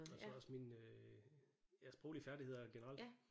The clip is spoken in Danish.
Og så også mine øh ja sproglige færdigheder generelt